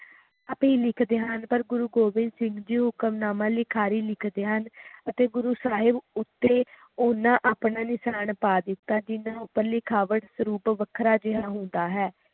ਆਪੇ ਲਿਖਦੇ ਹਨ ਪਰ ਗੁਰੂ ਗੋਬਿੰਦ ਸਿੰਘ ਜੀ ਹੁਕਮਨਾਮਾ ਲਿਖਾਰੀ ਲਿਖਦੇ ਹਨ ਅਤੇ ਗੁਰੂ ਸਾਹਿਬ ਉੱਤੇ ਓਹਨਾ ਆਪਣਾ ਨਿਸ਼ਾਨ ਪਾ ਦਿੱਤਾ ਜਿਹਨਾਂ ਉਪਰ ਲਿਖਾਵਟ ਸਰੂਪ ਵੱਖਰਾ ਜੇਹਾ ਹੁੰਦਾ ਹੈ